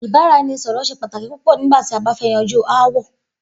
Ìbàrà-e̩ni-sò̩rò̩ s̩e pàtàkì púpò̩ nígbà tí a bá fé̩ yanjú aáwò̩